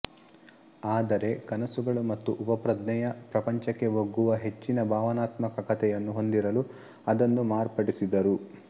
ಆದರೆ ಕನಸುಗಳು ಮತ್ತು ಉಪಪ್ರಜ್ಞೆಯ ಪ್ರಪಂಚಕ್ಕೆ ಒಗ್ಗುವ ಹೆಚ್ಚಿನ ಭಾವನಾತ್ಮಕ ಕಥೆಯನ್ನು ಹೊಂದಿರಲು ಅದನ್ನು ಮಾರ್ಪಡಿಸಿದರು